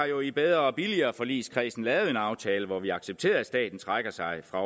jo i bedre og billigere forligskredsen lavet en aftale hvor vi accepterer at staten trækker sig fra